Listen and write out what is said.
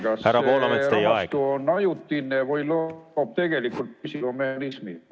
Kuidas teie arvates on: kas see rahastu on ajutine või loob tegelikult püsiva mehhanismi?